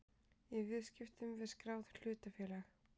í viðskiptum við skráð hlutafélag.